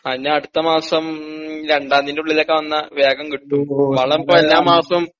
ആ ഇനി അടുത്തമാസം രണ്ടാന്തിൻ്റെ ഉള്ളിലൊക്കെ വന്നാ വേഗം കിട്ടൂ വളം പ്പ എല്ലാ മാസവും